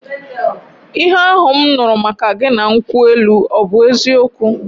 Ihe ahụ m nụrụ maka gị na nkwụ elu ọ bụ eziokwu?